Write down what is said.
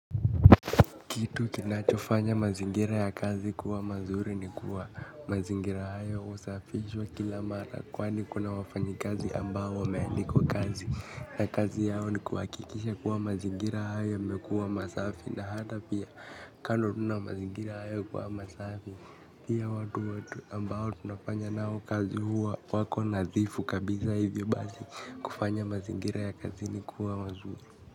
Kitu kinachofanya mazingira ya kazi kuwa mazuri ni kuwa mazingira haya usafishwa kila mara kwani kuna wafanyikazi ambao wameendikwa kazi. Na kazi yao ni kuwakikisha kuwa mazingira haya yamekuwa masafi na hata pia kando tu na mazingira hayo kuwa masafi pia watu wetu ambao tunafanya nao kazi huwa wako nadhifu kabiza hivyo basi kufanya mazingira ya kazini kuwa mazuri.